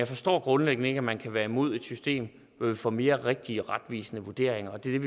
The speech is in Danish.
forstår grundlæggende ikke at man kan være imod et system hvor vi får mere rigtige og retvisende vurderinger og det er